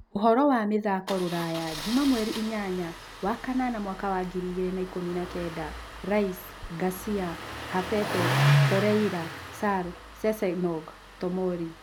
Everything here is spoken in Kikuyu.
Ũhoro wa mĩthako rũraya juma mweri inyanya wa kanana mwaka wa ngiri igĩrĩ na ikũmi na kenda: Rice, Garcia, Havertz, Torreira, Sarr, Sessegnon, Tomori